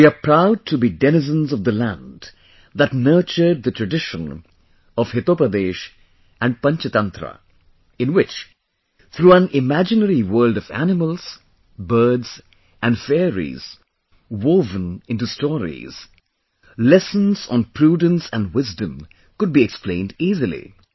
We are proud to be denizens of the land that nurtured the tradition of Hitopadesh and Panch Tantra in which, through an imaginary world of animals, birds and fairies woven into stories, lessons on prudence and wisdom could be explained easily